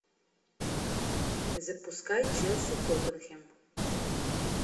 запускай челси тоттенхэм